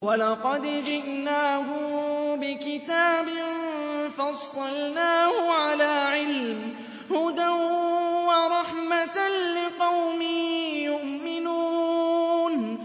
وَلَقَدْ جِئْنَاهُم بِكِتَابٍ فَصَّلْنَاهُ عَلَىٰ عِلْمٍ هُدًى وَرَحْمَةً لِّقَوْمٍ يُؤْمِنُونَ